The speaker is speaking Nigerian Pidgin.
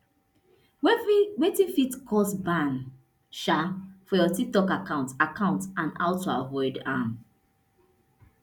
wetin fit cause ban um for your tiktok account account and how to avoid am